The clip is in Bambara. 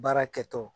Baara kɛtɔ